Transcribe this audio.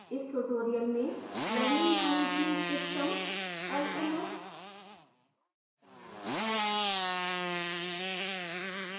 इस tutorial में learning management systems lms